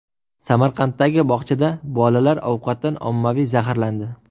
Samarqanddagi bog‘chada bolalar ovqatdan ommaviy zaharlandi.